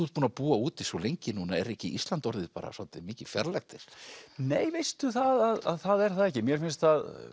ert búinn að búa úti svo lengi núna er ekki Ísland orðið bara svolítið mikið fjarlægt þér nei veistu að það er það ekki mér finnst